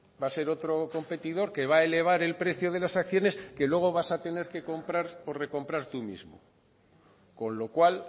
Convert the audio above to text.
va a ser otro competidor que va a elevar el precio de las acciones que luego vas a tener que comprar o recomprar tú mismo con lo cual